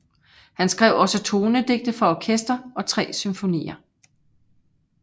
Han skrev også tonedigte for orkester og tre symfonier